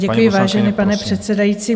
Děkuji, vážený pane předsedající.